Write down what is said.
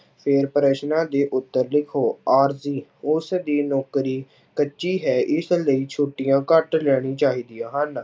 ਫਿਰ ਪ੍ਰਸ਼ਨਾਂ ਦੇ ਉੱਤਰ ਲਿਖੋ, ਆਰਜ਼ੀ ਉਸਦੀ ਨੌਕਰੀ ਕੱਚੀ ਹੈ ਇਸ ਲਈ ਛੁੱਟੀਆਂ ਘੱਟ ਲੈਣੀ ਚਾਹੀਦੀਆਂ ਹਨ।